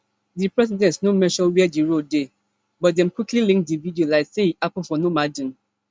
di president no mention wia di road dey but dem quickly link di video like say e happen for normandein